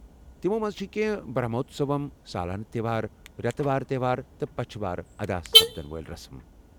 تمو منٛزٕ چھےٚ کٮ۪نٛہہ برٛہموتسوم، سالانہٕ تہوار، ریتہٕ وار تہوار تہٕ پچھہٕ وار ادا سپدن وٲلۍ رسم